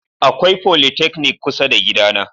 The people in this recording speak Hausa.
Akwai folytechnic kusa da gidana.